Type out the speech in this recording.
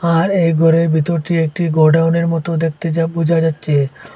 আর এই ঘরের ভেতরটি একটি গোডাউনের মতো দেখতে যা বোঝা যাচ্ছে।